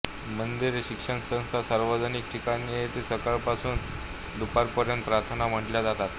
मंदिरे शिक्षण संस्था सार्वजनिक ठिकाणे येथे सकाळपासून दुपारपर्यंत प्रार्थना म्हटल्या जातात